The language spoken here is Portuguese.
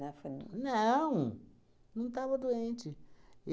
né? Foi no. Não, não estava doente.